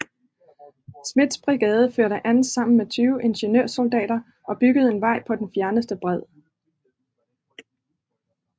Smiths brigade førte an sammen med 20 ingeniørsoldater og byggede en vej på den fjerneste bred